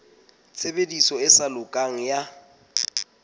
tshebediso e sa lokang ya